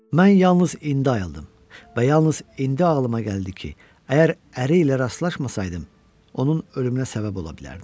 Mən yalnız indi ayıldım və yalnız indi ağlıma gəldi ki, əgər əri ilə rastlaşmasaydım, onun ölümünə səbəb ola bilərdim.